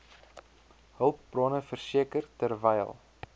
hulpbronne verseker terwyl